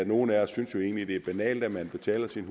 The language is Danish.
nogle af os synes egentlig det er banalt at man betaler sin